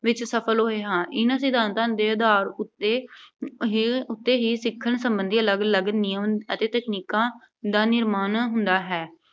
ਵਿੱਚ ਸਫ਼ਲ ਹੋਏ ਹਾਂ। ਇਨ੍ਹਾਂ ਸਿਧਾਂਤਾਂ ਦੇ ਆਧਾਰ ਉੱਤੇ ਅਹ ਹੀ, ਉੱਤੇ ਹੀ ਸਿੱਖਣ ਸਬੰਧੀ ਅਲੱਗ ਅਲੱਗ ਨਿਯਮ ਅਤੇ ਤਕਨੀਕਾਂ ਦਾ ਨਿਰਮਾਣ ਹੁੰਦਾ ਹੈ।